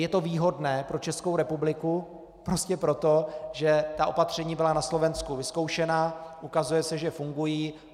Je to výhodné pro Českou republiku prostě proto, že ta opatření byla na Slovensku vyzkoušena, ukazuje se, že fungují.